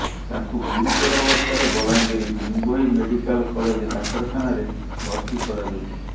ତାଙ୍କୁ ଗୁରୁତର ଅବସ୍ଥାରେ ବଲାଙ୍ଗିର ଭିମଭୋଇ ମେଡିକାଲ କଲେଜ ଡାକ୍ତରଖାନାରେ ଭର୍ତ୍ତି କରାଯାଇଛି